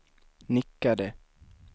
nickade